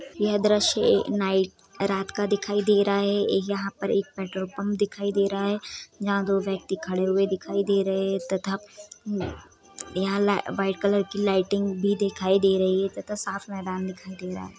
यह दृश्य नाइट रात का दिखाई दे रहा है यहाँ पर एक पेट्रोल पंप दिखाई दे रहा है यहां दो व्यक्ति खड़े हुए दिखाई दे रहे है तथा यहां ला व्हाइट कलर की लाइटिंग भी दिखाई दे रही है तथा साफ मैदान दिखाई दे रहा है।